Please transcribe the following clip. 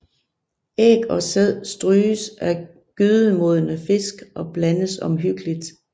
Æg og sæd stryges af gydenmodne fisk og blandes omhyggeligt